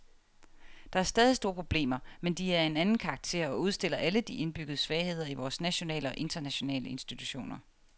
Der er stadig store problemer, men de er af en anden karakter og udstiller alle de indbyggede svagheder i vore nationale og internationale institutioner.